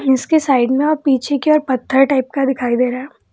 इसके साइड में और पीछे भी ओर पत्थर टाइप का दिखाई दे रहा है।